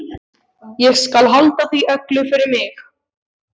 Ég skal halda því öllu fyrir mig.